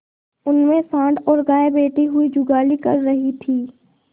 उनमें सॉँड़ और गायें बैठी हुई जुगाली कर रही थी